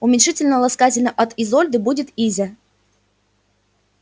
уменьшительно-ласкательно от изольды будет изя